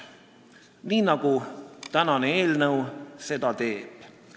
Nii nagu tänane eelnõu seda teeb.